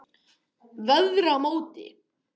Veðramóti